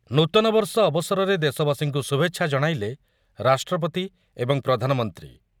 ନୂତନବର୍ଷ ଅବସରରେ ଦେଶବାସୀଙ୍କୁ ଶୁଭେଚ୍ଛା ଜଣାଇଲେ ରାଷ୍ଟ୍ରପତି ଏବଂ ପ୍ରଧାନମନ୍ତ୍ରୀ